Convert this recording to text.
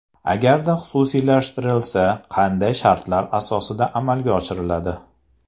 Agarda xususiylashtirilsa, qanday shartlar asosida amalga oshiriladi?